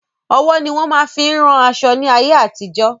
Ọwọ́ ni wọn máa fin ún ran aṣọ ní ayé àtijó.